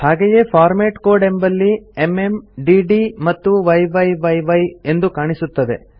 ಹಾಗೆಯೇ format code ಎಂಬಲ್ಲಿ MM DD ಮತ್ತು ಯ್ಯಿ ಎಂದು ಕಾಣಿಸುತ್ತದೆ